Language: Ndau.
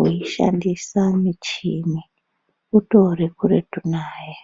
veishandisa muchini utori kuretu naye.